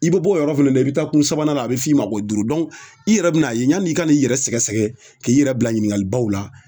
I bi bɔ o yɔrɔ fana na i bi taa kun sabanan a bi f'i ma ko duuru i yɛrɛ bin'a ye yani i ka n'i yɛrɛ sɛgɛsɛgɛ k'i yɛrɛ bila ɲininkalibaw la